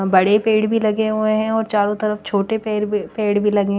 बड़े पेड़ भी लगे हुए है और चारो तरफ छोटे पेर भी पेड़ भी लगे --